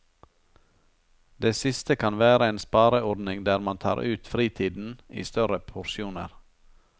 Det siste kan være en spareordning der man tar ut fritiden i større porsjoner.